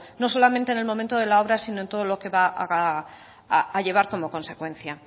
no solamente en el momento de la obra si no en todo lo que va a llevar como consecuencia